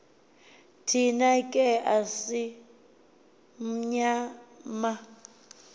thina ke asimnyama